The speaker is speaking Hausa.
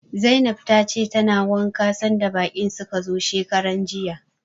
Zainab tace tana wanka sanda baƙin suka zo shekaranjiya.